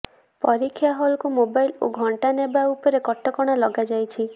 ପରୀକ୍ଷା ହଲକୁ ମୋବାଇଲ ଓ ଘଣ୍ଟା ନେବା ଉପରେ କଟକଣା ଲଗାଯାଇଛି